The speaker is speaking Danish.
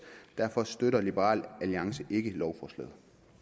derfor støtter liberal alliance ikke lovforslaget